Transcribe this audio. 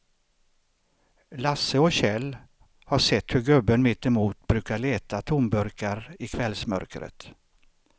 Lasse och Kjell har sett hur gubben mittemot brukar leta tomburkar i kvällsmörkret.